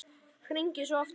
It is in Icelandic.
Hringi svo aftur.